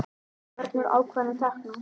Hvernig eru ákvarðanir teknar?